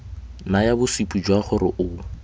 naya bosupi jwa gore o